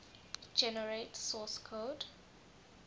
generate source code